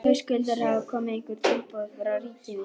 Höskuldur: Hafa komið einhver tilboð frá ríkinu?